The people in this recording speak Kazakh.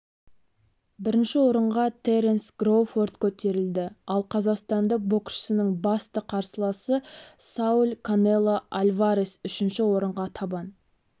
бірінші орынға теренс кроуфорд көтерілді ал қазақстандық боксшының басты қарсыласы сауль канело альварес үшінші орынға табан